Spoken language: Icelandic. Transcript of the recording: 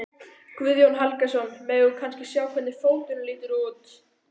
Guðjón Helgason: Megum við kannski sjá hvernig fóturinn lítur út?